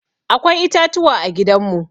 Akwai itatuwa a gidan mu.